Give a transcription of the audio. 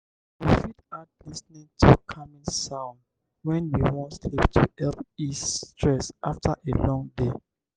we fit add lis ten ing to calming sound when we wan sleep to help ease stress after a long day